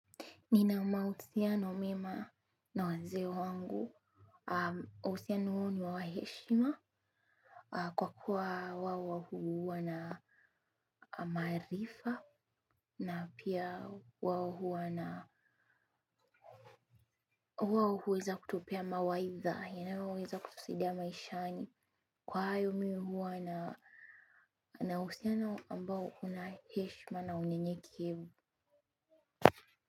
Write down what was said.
Nina mahusiano mema na wazee wangu, uhusiano huo ni wa heshima kwa kuwa wao huwa na maarifa na pia wao huwa na huwa huweza kutupea mawaidha inayoweza kutusaidia maishani kwa hayo mi huwa na uhusiano ambao una heshima na unyenyekevu.